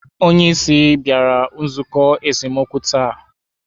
Onye isi bịara nzukọ esemokwu taa?